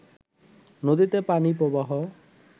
নদীতে পানি প্রবাহ